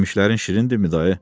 Yemişlərin şirindirmi dayı?